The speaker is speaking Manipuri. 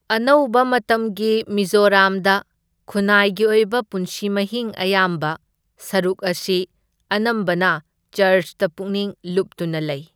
ꯑꯅꯧꯕ ꯃꯇꯝꯒꯤ ꯃꯤꯖꯣꯔꯥꯝꯗ ꯈꯨꯟꯅꯥꯏꯒꯤ ꯑꯣꯏꯕ ꯄꯨꯟꯁꯤ ꯃꯍꯤꯡ ꯑꯌꯥꯝꯕ ꯁꯔꯨꯛ ꯑꯁꯤ ꯑꯅꯝꯕꯅ ꯆꯔ꯭ꯆꯇ ꯄꯨꯛꯅꯤꯡ ꯂꯨꯞꯇꯨꯅ ꯂꯩ꯫